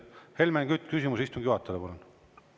Helmen Kütt, küsimus istungi juhatajale, palun!